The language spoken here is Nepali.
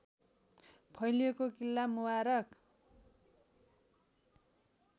फैलिएको किल्ला मुबारक